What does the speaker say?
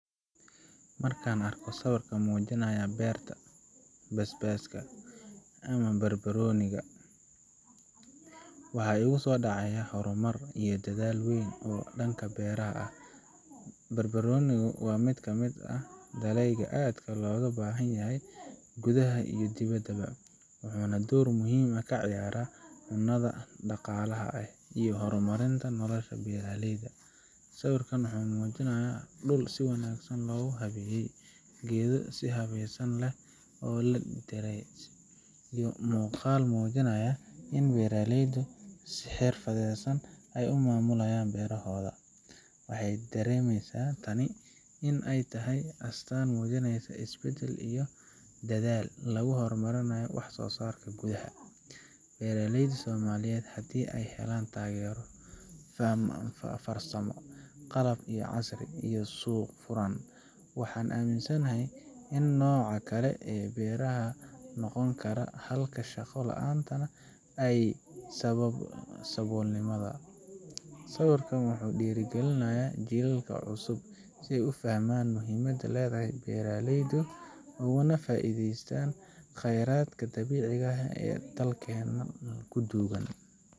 Marka aan arko sawir muujinaya beerta basbaaska ama barbarooniga, waxa igu soo dhacaya horumar iyo dadaal weyn oo dhanka beeraha ah. barbarooniga waa mid ka mid ah dalagyada aadka looga baahan yahay gudaha iyo dibaddaba, wuxuuna door muhiim ah ka ciyaaraa cunnada, dhaqaalaha, iyo horumarinta nolosha beeraleyda. Sawirka wuxuu muujinayaa dhul si wanaagsan loo habeeyey, geedo si habsami leh loo dhiray, iyo muuqaal muujinaya in beeraleydu ay si xirfadaysan u maamulayaan beerahooda. Waxaay dareemysaa in tani ay tahay astaan muujinaysa isbeddel iyo dadaal lagu horumarinayo waxsoosaarka gudaha. Beeraleyda Soomaaliyeed haddii ay helaan taageero farsamo, qalab casri ah, iyo suuq furan, waxaan aaminsanahay in nooca kale ah beero ay noqon karaan xalka shaqo la'aanta iyo saboolnimada. Sawirkan wuxuu dhiirrigelin u yahay jiilalka cusub si ay u fahmaan muhiimada ay leedahay beeraleynimadu, ugana faa’iideystaan khayraadka dabiiciga ah ee dalkeenna ku duugan.